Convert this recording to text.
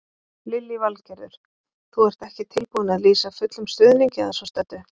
Lillý Valgerður: Þú ert ekki tilbúinn að lýsa fullum stuðningi að svo stöddu?